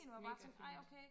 mega fint